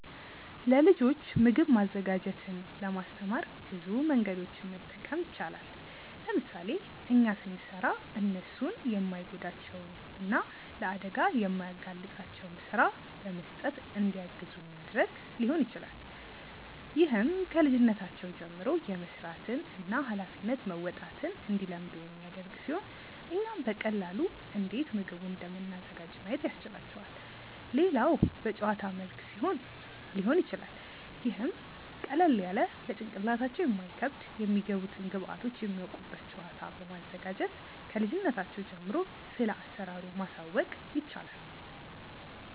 ለልጆች ምግብ ማዘጋጀትን ለማስተማር ብዙ መንገዶችን መጠቀም ይቻላል። ለምሳሌ እኛ ስንሰራ እነርሱን የማይጎዳቸውን እና ለአደጋ የማያጋልጣቸውን ስራ በመስጠት እንዲያግዙን ማድረግ ሊሆን ይችላል። ይህም ከልጅነታቸው ጀምሮ የመስራትን እና ሃላፊነት መወጣትን እንዲለምዱ የሚያደርግ ሲሆን እኛም በቀላሉ እንዴት ምግቡን እንደምናዘጋጅ ማየት ያስችላቸዋል። ሌላው በጨዋታ መልክ ሊሆን ይችላል ይህም ቀለል ያለ ለጭንቅላታቸው የማይከብድ የሚገቡትን ግብዐቶች የሚያውቁበት ጨዋታ በማዘጋጀት ክልጅነታቸው ጀምሮ ስለአሰራሩ ማሳወቅ ይቻላል።